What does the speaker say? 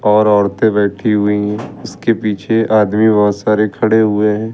और औरते बैठी हुईं इसके पीछे आदमी बहोत सारे खड़े हुए हैं।